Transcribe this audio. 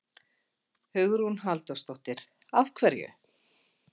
Hugrún Halldórsdóttir: Af hverju?